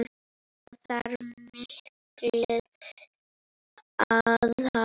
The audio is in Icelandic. Það þarf mikið aðhald.